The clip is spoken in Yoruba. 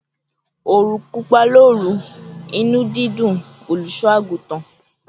"Orun pupa loru, inu didùn oluso-agutan;